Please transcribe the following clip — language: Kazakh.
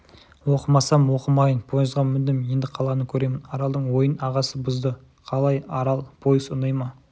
оқымасам оқымайын пойызға міндім енді қаланы көремін аралдың ойын ағасы бұзды қалай арал пойыз ұнай ма